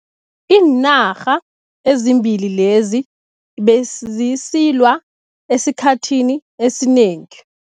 Iinarha ezimbili lezi bezisilwa esikhathini esinengi.